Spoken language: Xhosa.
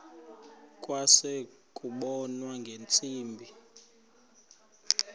kwase kubonwa ngeentsimbi